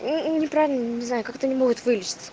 мм не правильно не знаю как это не могут вылечить